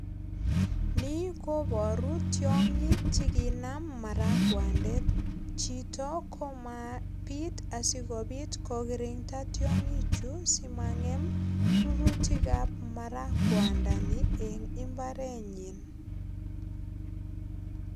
Nikobaru tiongik che kinam marakwandet. Chito ko mopit asigopit ko kirinda tiongichu asimangem rurutik ab marakwandani en imbarenyin